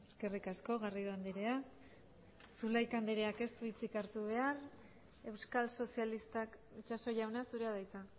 eskerrik asko garrido andrea zulaika andreak ez du hitzik hartu behar euskal sozialistak itxaso jauna zurea da hitza